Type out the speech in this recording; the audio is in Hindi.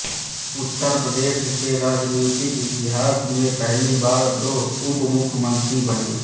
उत्तर प्रदेश के राजनीतिक इतिहास में पहली बार दो उपमुख्यमंत्री बने